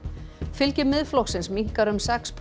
fylgi Miðflokksins minnkar um sex